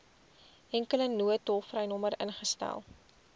enkele noodtolvrynommer ingestel